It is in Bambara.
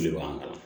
O de b'an